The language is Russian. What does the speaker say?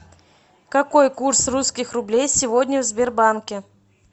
какой курс русских рублей сегодня в сбербанке